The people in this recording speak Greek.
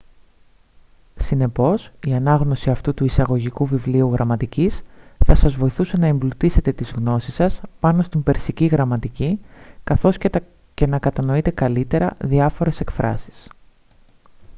συνεπώς η ανάγνωση αυτού του εισαγωγικού βιβλίου γραμματικής θα σας βοηθούσε να εμπλουτίσετε τις γνώσεις σας πάνω στην περσική γραμματική καθώς και να κατανοείτε καλύτερα διάφορες εκφράσεις